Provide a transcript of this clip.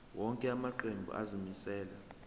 wonke amaqembu azimisela